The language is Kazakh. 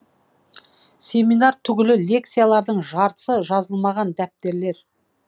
семинар түгілі лекциялардың жартысы жазылмаған дәптерлер